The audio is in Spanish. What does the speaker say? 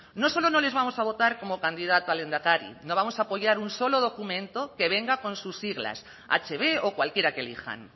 no solo no les vamos a votar como candidata a lehendakari no vamos a apoyar un solo documento que venga con sus siglas hb o cualquiera que elijan